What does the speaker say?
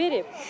Nə verib?